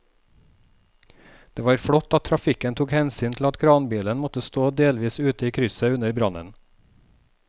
Det var flott at trafikken tok hensyn til at kranbilen måtte stå delvis ute i krysset under brannen.